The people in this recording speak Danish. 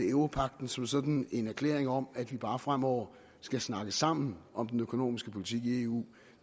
europagten som sådan en erklæring om at vi bare fremover skal snakke sammen om den økonomiske politik i eu